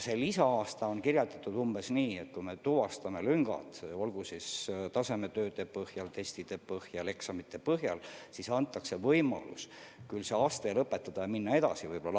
See lisa-aasta on mõeldud umbes nii, et kui me tuvastame lüngad, olgu tasemetööde põhjal või testide või eksamite põhjal, siis antakse ikkagi võimalus see aste lõpetada ja edasi minna.